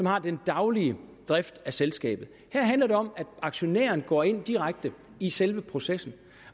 har den daglige drift af selskabet her handler det om at aktionæren gå ind direkte i selve processen